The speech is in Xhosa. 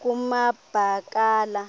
kumabakala